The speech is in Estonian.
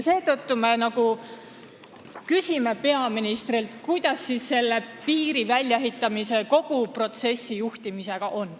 Seetõttu me küsime peaministrilt, kuidas siis selle piiri väljaehitamise ja kogu protsessi juhtimisega on.